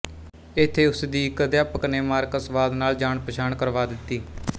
ਇਥੇ ਉਸ ਦੀ ਇੱਕ ਅਧਿਆਪਕਨੇ ਮਾਰਕਸਵਾਦ ਨਾਲ ਜਾਣਪਛਾਣ ਕਰਵਾ ਦਿੱਤੀ